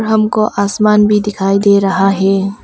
हमको आसमान भी दिखाई दे रहा है।